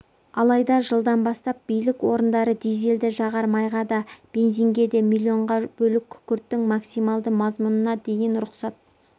алайда жылдан бастап билік орындары дизельді жағар майға да бензинге де миллионға бөлік күкірттің максималды мазмұнына дейін рұқсат